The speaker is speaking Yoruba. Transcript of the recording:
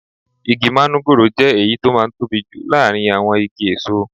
Igi manugoro jẹ́ èyí tó máa ń tóbi jù láàárín àwọn igi èso.